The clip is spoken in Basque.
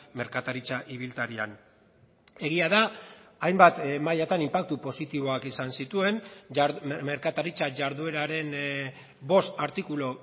merkataritza ibiltarian egia da hainbat mailatan inpaktu positiboak izan zituen merkataritza jardueraren bost artikulu